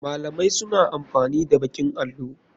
Malamai suna amfani da baƙin allo.